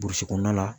Burusi kɔnɔna la